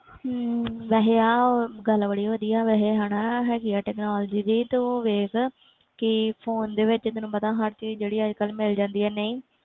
ਹਮ ਵੈਸੇ ਆਹ ਗੱਲ ਬੜੀ ਵਧੀਆ ਵੈਸੇ ਹਨਾ ਹੈਗੀ ਆ technology ਦੀ ਤੂੰ ਵੇਖ ਕਿ phone ਦੇ ਵਿੱਚ ਤੈਨੂੰ ਪਤਾ ਹਰ ਚੀਜ਼ ਜਿਹੜੀ ਅੱਜ ਕੱਲ੍ਹ ਮਿਲ ਜਾਂਦੀ ਹੈ ਨਹੀਂ,